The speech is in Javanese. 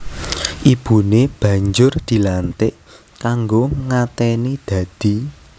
Ibune banjur dilantik kanggo ngateni dadi